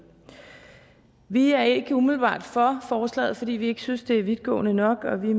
vi er ikke umiddelbart for forslaget fordi vi ikke synes at det er vidtgående nok og vi